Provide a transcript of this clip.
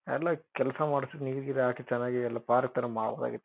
ಎಲ್ಲಾ ಕೆಲಸ ಮಾಡ್ತೀನಿ ನೀರ್ಗೀ-ರ್ ಹಾಕಿ ಚೆನಾಗಿ ಎಲ್ಲ ಪಾರ್ಕ್ ಥರ ಮಾಡಬೋದಾಗಿತ್ತು.